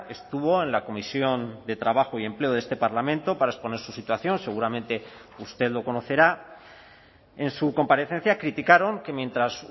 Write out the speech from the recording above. estuvo en la comisión de trabajo y empleo de este parlamento para exponer su situación seguramente usted lo conocerá en su comparecencia criticaron que mientras